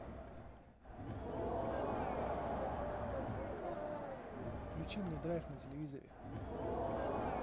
включи мне драйв на телевизоре